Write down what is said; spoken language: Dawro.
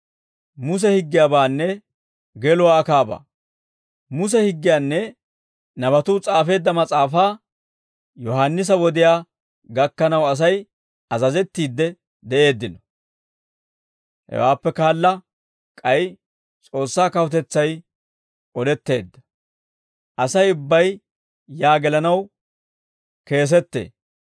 «Muse higgiyaanne nabatuu s'aafeedda mas'aafaa Yohaannisa wodiyaa gakkanaw Asay azazettiidde de'eeddino; hewaappe kaala k'ay S'oossaa kawutetsay odetteedda; Asay ubbay yaa gelanaw keesetee.